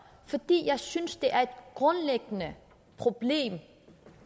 fordi jeg synes det er et grundlæggende problem